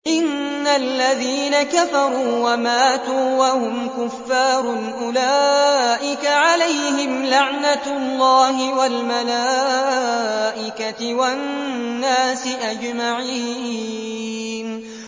إِنَّ الَّذِينَ كَفَرُوا وَمَاتُوا وَهُمْ كُفَّارٌ أُولَٰئِكَ عَلَيْهِمْ لَعْنَةُ اللَّهِ وَالْمَلَائِكَةِ وَالنَّاسِ أَجْمَعِينَ